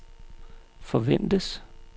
forventes